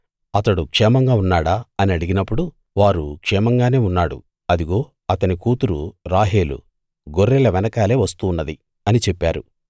అతడు క్షేమంగా ఉన్నాడా అని అడిగినప్పుడు వారు క్షేమంగానే ఉన్నాడు అదిగో అతని కూతురు రాహేలు గొర్రెల వెనకాలే వస్తున్నది అని చెప్పారు